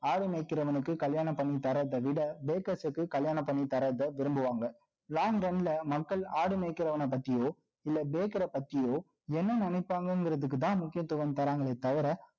ஆடு மேய்க்கிறவனுக்கு, கல்யாணம் பண்ணி தர்றதை விட, breakers க்கு, கல்யாணம் பண்ணி தர்றதை, விரும்புவாங்க. Long down ல, மக்கள், ஆடு மேய்க்கிறவனை பத்தியோ, இல்ல, baker அ பத்தியோ, என்ன நினைப்பாங்கங்கிறதுக்குதான், முக்கியத்துவம் தர்றாங்களே தவிர